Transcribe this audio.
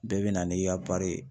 Bɛɛ be na n'i ka ye.